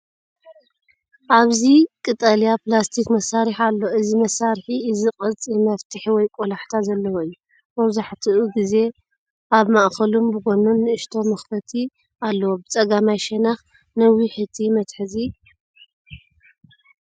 ኣብዚ ቀጠልያ ፕላስቲክ መሳርሒ ኣሎ። እዚ መሳርሒ እዚ ቅርጺ መፍተሒ ወይ ቆላሕታ ዘለዎ እዩ፤ መብዛሕትኡ ግዜ ኣብ ማእከሉን ብጐድኑን ንእሽቶ መኽፈቲ ኣለዎ። ብጸጋማይ ሸነኽ ነዊሕ መትሓዚ ኣለዎ፤ እዚ መትሓዚ እዚ ንምሓዝ ምቹእ እዩ። ኣብ ስእሊ ዓይነት መሳርሒ ንምንታይ ይጠቅም?